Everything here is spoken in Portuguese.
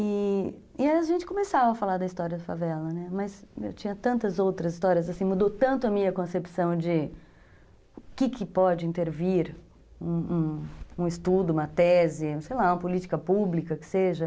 E a gente começava a falar da história da favela, né, mas eu tinha tantas outras histórias, mudou tanto a minha concepção de o que pode intervir um estudo, uma tese, sei lá, uma política pública que seja.